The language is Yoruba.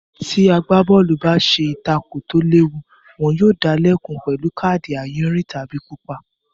Tí agbábọ́ọ̀lù báse ìtakò tó léwu, wọn yóò dalẹ́kun pẹ̀lú káàdì àyìnrín tàbí pupa.